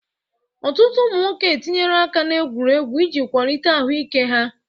Ọtụtụ ụmụ nwoke etinyela aka n'egwuregwu iji kwalite ahụ ike ha.